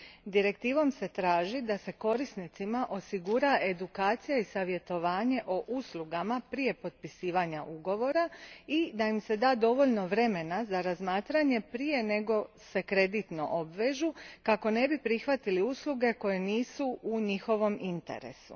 Direktivom se traži da se korisnicima osigura edukacija i savjetovanje o uslugama prije potpisivanja ugovora i da im se da dovoljno vremena za razmatranje prije nego se kreditno obvežu, kako ne bi prihvatili usluge koje nisu u njihovom interesu.